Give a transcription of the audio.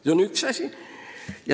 See on üks asi.